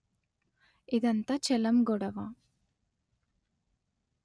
ఇదంతా చెలం గొడవ